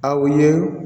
Aw ye